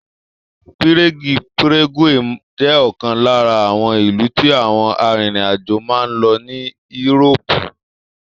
Pírégì ( Prague) jẹ́ ọ̀kan lára àwọn ìlú tí àwọn arìnrìn àjò máa ń lọ ní írópù (Europe)